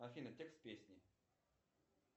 афина текст песни